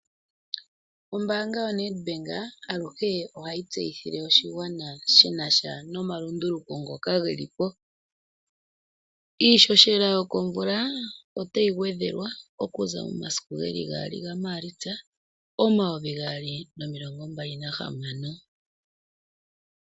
Ombaanga yoNedbank aluhe ohayi tseyithile oshigwana shi nasha no malunduluko ngoka ge lipo. Iishoshela yo komvula otayi gwedhelwa okuza momasiku geli gaali ga Maalitsa, omayovi gaali nomilongo mbali nahamano.